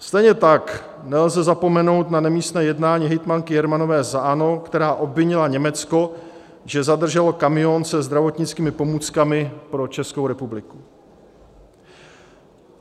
Stejně tak nelze zapomenout na nemístné jednání hejtmanky Jermanové za ANO, která obvinila Německo, že zadrželo kamion se zdravotnickými pomůckami pro Českou republiku.